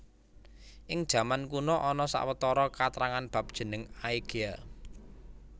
Ing jaman kuna ana sawetara katrangan bab jeneng Aegea